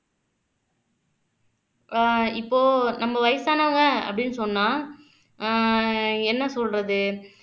ஆஹ் இப்போ நம்ம வயசானவங்க அப்டின்னு சொன்னா ஆஹ் என்ன சொல்றது